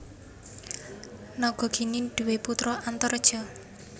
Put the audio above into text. Nagagini duwé putra Antareja